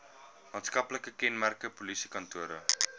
maatskaplike kenmerke polisiekantore